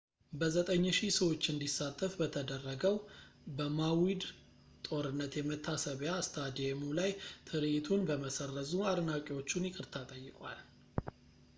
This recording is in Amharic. በ9,000 ሰዎች እንዲሳተፍ በተደረገው በማዊድ ጦርነት የመታሰቢያ ስታዲየሙ ላይ ትርዒቱን በመሰረዙ አድናቂዎቹን ይቅርታ ጠይቋል